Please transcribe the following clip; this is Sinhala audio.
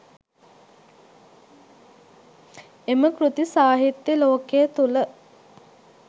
එම කෘති සාහිත්‍ය ලෝකය තුළ